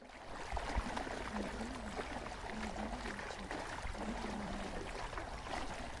андрее владимировиче доронине